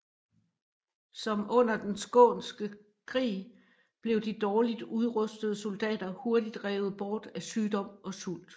Som under den skånske krig blev de dårligt udrustede soldater hurtigt revet bort af sygdom og sult